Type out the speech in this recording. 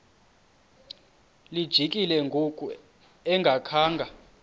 lijikile ngoku engakhanga